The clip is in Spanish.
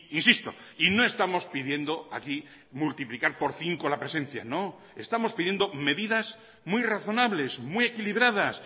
insisto y no estamos pidiendo aquí multiplicar por cinco la presencia no estamos pidiendo medidas muy razonables muy equilibradas